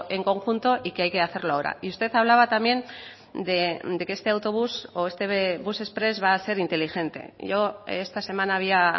en conjunto y que hay que hacerlo ahora y usted hablaba también de que este autobús o este bus exprés va a ser inteligente yo esta semana había